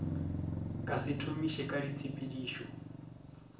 ka se thomiše ka ditshepedišo